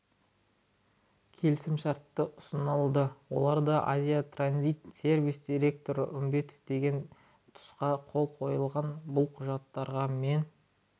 келісімшарттары ұсынылды оларда азия транзит сервис директоры үмбетов деген тұсқа қол қойылған бұл құжаттарға мен